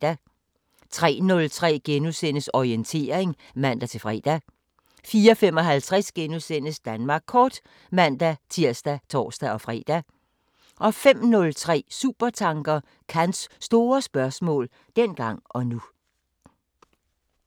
03:03: Orientering *(man-fre) 04:55: Danmark Kort *(man-tir og tor-fre) 05:03: Supertanker: Kants store spørgsmål – dengang og nu